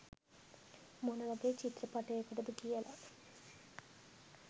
මොනවගේ චිත්‍රපටයකටද කියල